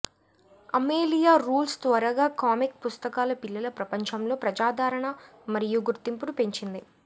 Amelia Rules త్వరగా comic పుస్తకాల పిల్లల ప్రపంచంలో ప్రజాదరణ మరియు గుర్తింపును పెంచింది